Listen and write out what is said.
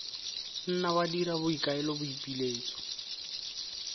nna wa dira boikuelo boipiletso